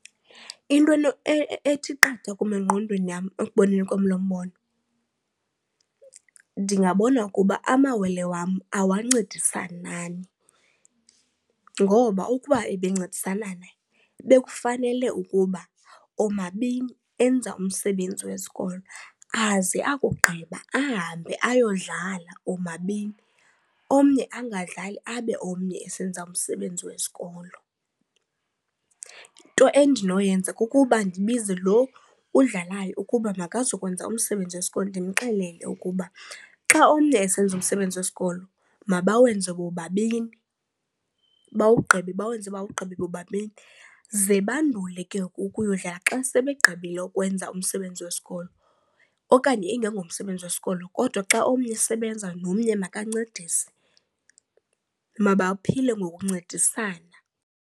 Into ethi qatha kum engqondweni yam ekuboneni kwam lo mbono, ndingabona ukuba amawele wam awancedisananani ngoba ukuba ebe ncedisanana bekufanele ukuba omabini enza umsebenzi wesikolo aze akugqiba ahambe ayodlala omabini, omnye angadlali abe omnye esenza umsebenzi wesikolo. Into endinoyenza kukuba ndibize loo udlalayo ukuba makazukwenza umsebenzi wesikolo, ndimxelele ukuba xa omnye esenza umsebenzi wesikolo mabawenze bobabini bawugqibe, bawenze bawugqibe bobabini. Ze bandule ke ukuya kudlala xa sebegqibile ukwenza umsebenzi wesikolo. Okanye ingengomsebenzi wesikolo kodwa xa omnye esebenza nomnye makancedise, mabaphile ngokuncedisana.